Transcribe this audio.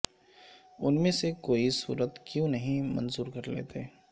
ان میں سے کوئی صورت کیوں نہیں منظور کرلیتے